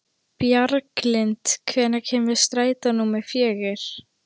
Bjarglind, hvenær kemur strætó númer fjögur?